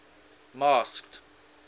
masked